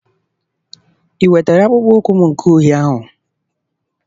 I wetara akpụkpọ ụkwụ m nke uhie ahụ?